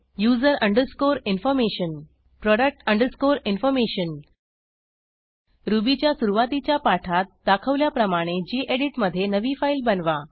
user underscore information product underscore information रुबीच्या सुरूवातीच्या पाठात दाखवल्याप्रमाणे गेडीत मधे नवी फाईल बनवा